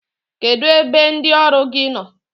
Kedụ ebe ndị ọrụ gị nọ?